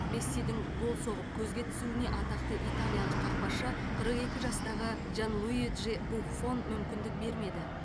мессидің гол соғып көзге түсуіне атақты италиялық қақпашы қырық екі жастағы джанлуиджи буффон мүмкіндік бермеді